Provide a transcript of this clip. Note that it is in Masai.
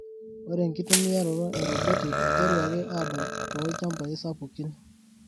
Ore enkitumiaroto e roboti eiteruaki adol too lchambai sapukin.